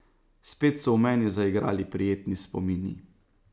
Spet so v meni zaigrali prijetni spomini.